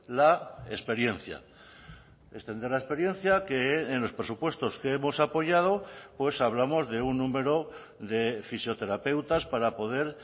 la experiencia extender la experiencia que en los presupuestos que hemos apoyado pues hablamos de un número de fisioterapeutas para poder